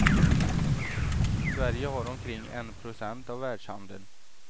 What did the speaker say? Sverige har omkring en procent av världshandeln.